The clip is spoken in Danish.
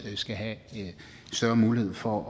skal have større mulighed for